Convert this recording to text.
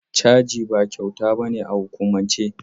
Caji ba kyauta ba ne a hukumance.